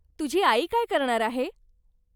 तुझी आई काय करणार आहे?